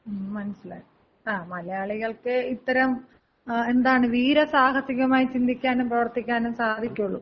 മ്, മനസ്സിലായി. ങ്ങ മലയാളികൾക്കെ ഇത്തരം എന്താണ് വീര സാഹസികമായി ചിന്തിക്കാനും പ്രവർത്തിക്കാനും സാധിക്കുള്ളൂ.